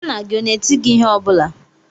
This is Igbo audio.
Nna gị ọ na-eti gị ihe ọ bụla?